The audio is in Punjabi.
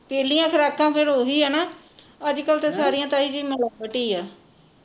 ਪਹਿਲੀਆਂ ਖੁਰਾਕਾਂ ਫੇਰ ਓਹੀ ਆ ਨਾ ਅੱਜ ਕਲ ਤਾਂ ਸਾਰੀਆਂ ਤਾਈ ਜੀ ਮਿਲਾਵਟ ਈ ਆ